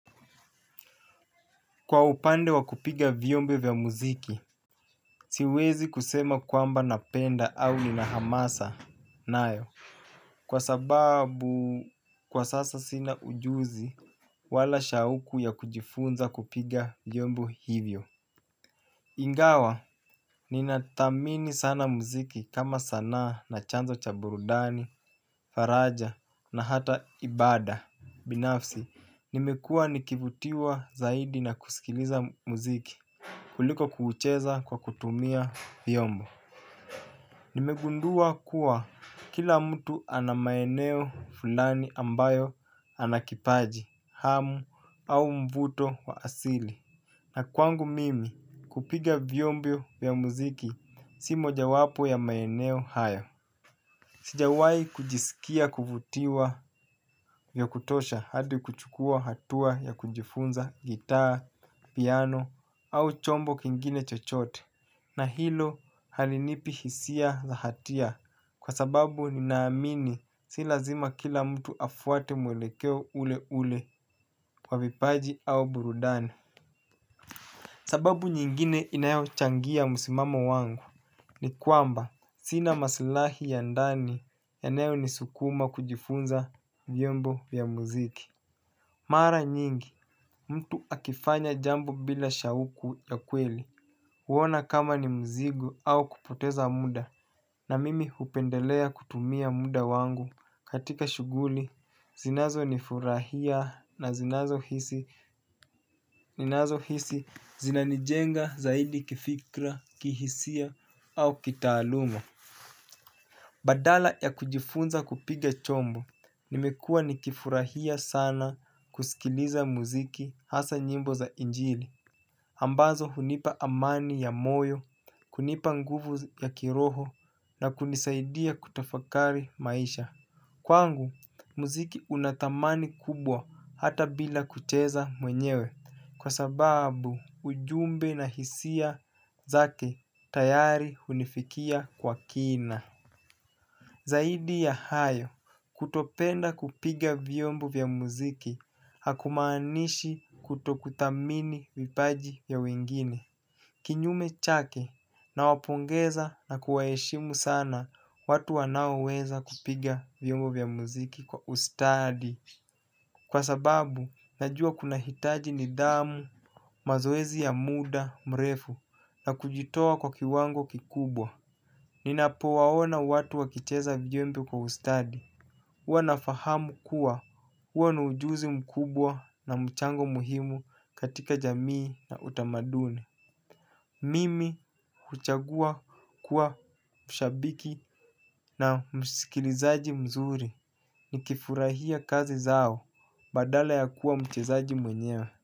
Kwa upande wa kupiga vyombo vya muziki, siwezi kusema kwamba napenda au nina hamasa nayo. Kwa sababu kwa sasa sina ujuzi wala shauku ya kujifunza kupiga vyombi hivyo. Ingawa, ninathamini sana muziki kama sanaa na chanzo cha burudani, faraja na hata ibada binafsi, nimekuwa nikivutiwa zaidi na kusikiliza muziki. Kuliko kuucheza kwa kutumia vyombo. Nimegundua kuwa kila mtu ana maeneo fulani ambayo ana kipaji, hamu au mvuto wa asili. Na kwangu mimi kupiga vyombo ya muziki si mojawapo ya maeneo hayo. Sijawahi kujisikia kuvutiwa vya kutosha hadi kuchukua hatua ya kujifunza gitaa, piano au chombo kingine chochote. Na hilo halinipi hisia za hatia kwa sababu ninaamini si lazima kila mtu afuate mwelekeo ule ule kwa vipaji au burudani. Sababu nyingine inayochangia msimamo wangu ni kwamba sina masaulahi ya ndani yanayonisukuma kujifunza vyombo vya muziki. Mara nyingi mtu akifanya jambo bila shauku ya kweli, huona kama ni mzigo au kupoteza muda na mimi hupendelea kutumia muda wangu katika shughuli zinazonifurahia na ninazohisi zinanijenga zaidi kifikra, kihisia au kitaaluma. Badala ya kujifunza kupiga chombo, nimekuwa nikifurahia sana kusikiliza muziki hasa nyimbo za injili, ambazo hunipa amani ya moyo, kunipa nguvu ya kiroho na kunisaidia kutafakari maisha. Kwangu, muziki una thamani kubwa hata bila kucheza mwenyewe kwa sababu ujumbe na hisia zake tayari hunifikia kwa kina. Zaidi ya hayo, kutopenda kupiga vyombo vya muziki hakumaanishi kutokuthamini vipaji vya wengine. Kinyume chake nawapongeza na kuwaheshimu sana watu wanaoweza kupiga vyombo vya muziki kwa ustadi. Kwa sababu, najua kunahitaji nidhamu, mazoezi ya muda mrefu na kujitoa kwa kiwango kikubwa. Ninapowaona watu wakicheza vyombo kwa ustadi huwa nafahamu kuwa huo ni ujuzi mkubwa na mchango muhimu katika jamii na utamaduni. Mimi huchagua kuwa mshabiki na msikilizaji mzuri. Nikifurahia kazi zao badala ya kuwa mchezaji mwenyewe.